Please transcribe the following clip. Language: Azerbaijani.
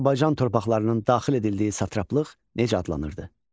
Azərbaycan torpaqlarının daxil edildiyi satraplıq necə adlanırdı?